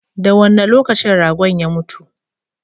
Da wanne lokacin ragon ya mutu?